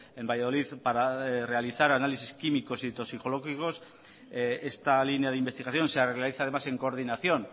en valladolid para realizar análisis químicos y toxicológicos esta línea de investigación se realiza además en coordinación